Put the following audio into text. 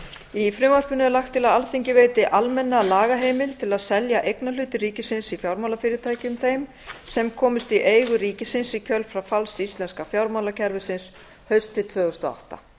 í frumvarpinu er lagt til að alþingi veiti almenna lagaheimild til að selja eignarhluti ríkisins í fjármálafyrirtækjum þeim sem komust í eigu ríkisins í kjölfar falls íslenska fjármálakerfisins haustið tvö þúsund og átta